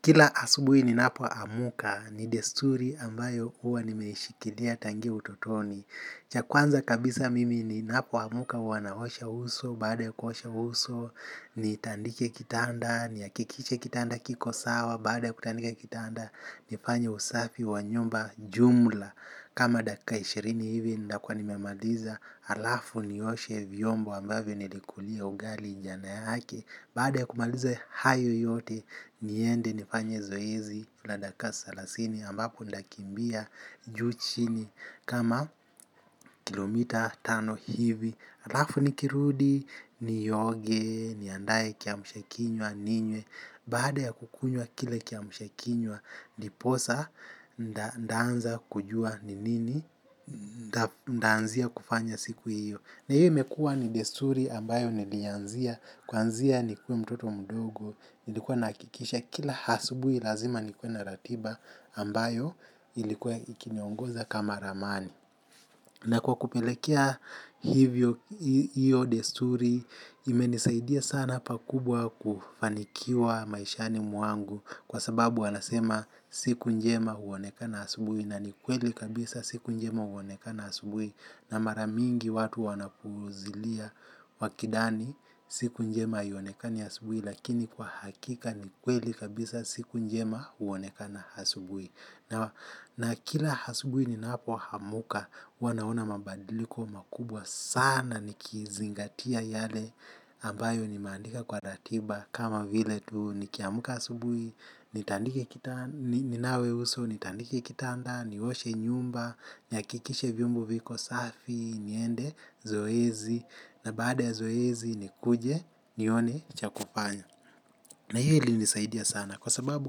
Kla asubuhi ninapoamka ni desturi ambayo huwa nimeishikilia tangia utotoni. Cha kwanza kabisa mimi ninapoamka huwa naosha uso, baada ya kuosha uso, nitandike kitanda, nihakikishe kitanda kiko sawa, baada ya kutandika kitanda, nifanye usafi wa nyumba jumla. Kama dakika ishirini hivi ndakuwa nimemaliza alafu nioshe vyombo ambavyo nilikulia ugali jana yake. Baada ya kumaliza hayo yote niende nifanye zoezi na dakika salasini ambapo ndakimbia juu chini. Kama kilomita tano hivi alafu nikirudi nioge niandae kiamshakinywa ninywe. Baada ya kukunywa kile kiamshakinywa, ndiposa, ndaanza kujua ni nini, ndaanzia kufanya siku hiyo. Na hiyo imekua ni desturi ambayo nilianzia, kuanzia nikuwe mtoto mdogo, nilikuwa nahakikisha kila asubui lazima nikuwe na ratiba ambayo ilikuwa ikiniongoza kama ramani. Na kwa kupelekea hivyo hiyo desturi imenisaidia sana pakubwa kufanikiwa maishani mwangu kwa sababu wanasema siku njema huonekana asubui na ni kweli kabisa siku njema huonekana asubui na mara mingi watu wanapuuzilia wakidhani siku njema haionekana asubui lakini kwa hakika ni kweli kabisa siku njema huonekana asubui. Na kila asubui ninapoamka huwa naona mabadiliko makubwa sana nikizingatia yale ambayo nimeandika kwa ratiba kama vile tu nikiamka asubui ninawe uso nitandike kitanda nioshe nyumba nihakikishe vyombo viko safi niende zoezi na baada ya zoezi nikuje nione cha kufanya. Na hiyo ilinisaidia kwa sababu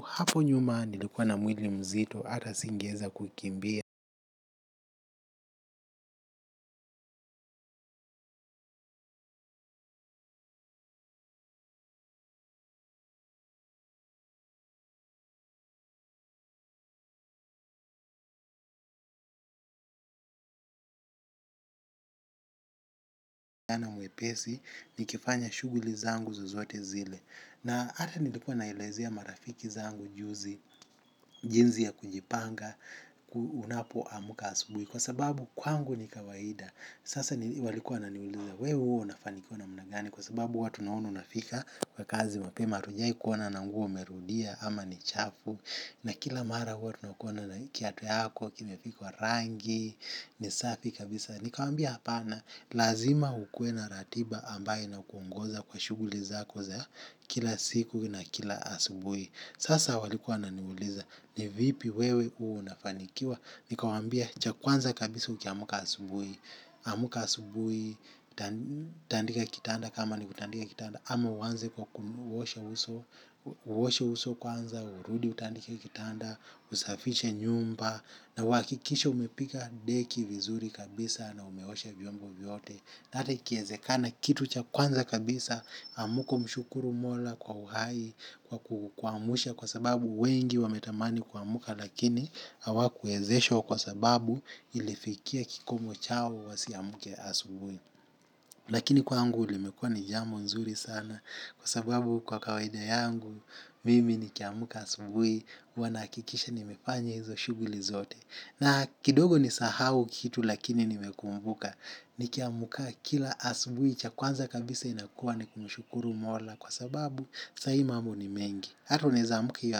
hapo nyuma nilikuwa na mwili mzito hata singeeza kukimbia. Na mwepesi nikifanya shughuli zangu zozote zile. Na hata nilikuwa naelezea marafiki zangu juzi, jinsi ya kujipanga unapoamka asubuhi kwa sababu kwangu ni kawaida sasa walikuwa wananiuliza wewe huwa unafinikiwa namna gani kwa sababu huwa tunaona unafika kazi mapema hatujawai ona nguo umerudia ama ni chafu. Na kila mara huwa tunakuona na kiatu yako, kimepigwa rangi, ni safi kabisa. Nikawaambia hapana, lazima ukuwe na ratiba ambayo inakuongoza kwa shughuli zako za kila siku na kila asubui. Sasa walikuwa wananiuliza, ni vipi wewe huwa unafanikiwa. Nikawaambia, cha kwanza kabisa ukiamka asubui. Amka asubui, tandika kitanda kama ni kutandika kitanda. Ama uanze kwa kuosha uso kwanza, urudi utandike kitanda, usafishe nyumba na uhakikishe umepiga deki vizuri kabisa na umeosha vyombo vyote na hata ikiezekana kitu cha kwanza kabisa amka umshukuru mola kwa uhai kwa kukuamsha kwa sababu wengi wametamani kuamka lakini hawakuwezeshwa kwa sababu ilifikia kikomo chao wasiamke asuubi lakini kwangu limekua ni jambo nzuri sana. Kwa sababu kwa kawaida yangu, mimi nikiamka asubui, huwa nahakikisha nimefanya hizo shughuli zote. Na kidogo nisahau kitu lakini nimekumbuka, nikiamka kila asubui, cha kwanza kabisa inakua ni kumshukuru mola. Kwa sababu, sahi mambo ni mengi. Ata unaeza amka hiyo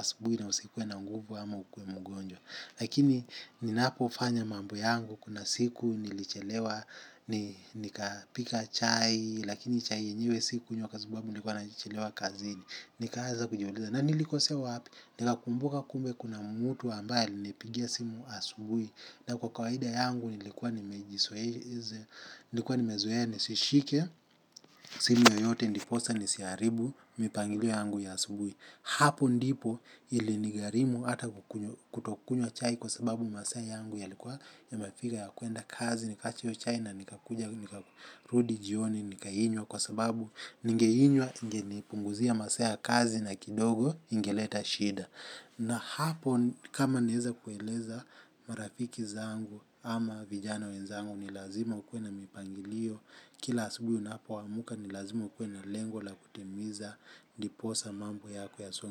asubui na usikuwe na nguvu ama ukuwe mgonjwa. Lakini ninapofanya mambo yangu kuna siku nilichelewa nikapika chai lakini chai yenyewe sikunywa kwa sababu nimechelewa kazini. Nikaaza kujiuliza, na nilikosea wapi, nikakumbuka kumbe kuna mtu ambaye alinipigia simu asubui. Na kwa kawaida yangu nilikuwa nimezoe, nilikuwa nimezoea, nisishike, simu yoyote ndiposa nisiharibu, mipangilio yangu ya asubui. Hapo ndipo ilinigharimu hata kutokunywa chai kwa sababu masaa yangu yalikuwa yamefika ya kuenda kazi nikaacha hiyo chai na nikakuja nikarudi jioni nikainywa kwa sababu ningeinywa ingenipunguzia masaa ya kazi na kidogo ingeleta shida na hapo kama naeza kueleza marafiki zangu ama vijana wenzangu ni lazima ukuwe na mipangilio kila asubuhi unapoamka ni lazima ukuwe na lengo la kutimiza ndiposa mambo yako yasonge.